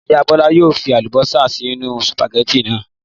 Ìyá Bọ́lá yóò fi àlùbọ́sà sínú sùpàgẹ́tì náà.